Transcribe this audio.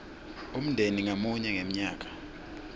umndeni ngamunye ngemnyaka